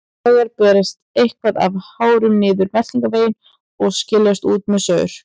Hins vegar berst eitthvað af hárum niður meltingarveginn og skilst út með saur.